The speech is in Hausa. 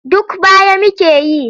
Duk baya muke yi.